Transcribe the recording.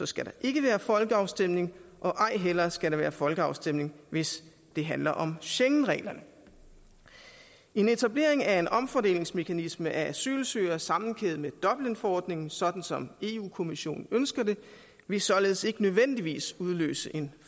skal der ikke være folkeafstemning og ej heller skal der være folkeafstemning hvis det handler om schengenreglerne en etablering af en omfordelingsmekanisme af asylsøgere sammenkædet med dublinforordningen sådan som europa kommissionen ønsker det vil således ikke nødvendigvis udløse en